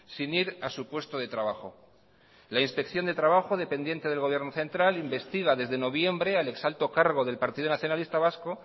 sin ir a su puesto de trabajo la inspección de trabajo dependiente del gobierno central investiga desde noviembre al ex alto cargo del partido nacionalista vasco